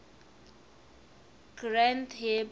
granth hib